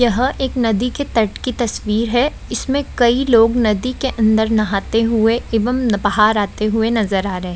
यह एक नदी के तट की तस्वीर है इसमे कई लोग नदी के अंदर नहाते हुए एवं बाहर आते हुए नजर आ रहे।